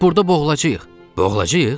Burda boğulacağıq, boğulacağıq.